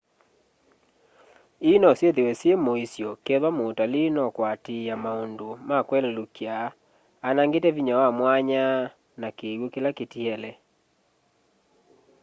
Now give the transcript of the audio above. ii nosyithwe syi muisyo kethwa mutalii nokwatiia maundu ma kwelelukya anangite vinya wa mwanya na kiwu kila kitiele